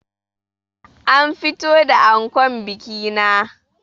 An fito da ankon bikina